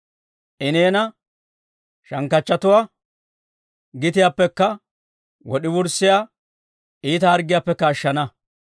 I neena shankkanchchatuwaa gitiyaappekka, wod'i wurssiyaa iita harggiyaappekka ashshana.